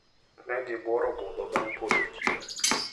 Ne gibuoro budho bang` podho chieng`.